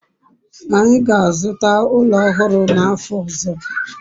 anyi ga-azuta ulo ohuru n'afo ozo